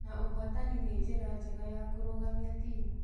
Na ũhotani nĩ njĩra njega ya kũrũgamia timu.